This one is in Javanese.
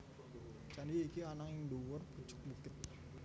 Candhi iki ana ing dhuwur pucuk bukit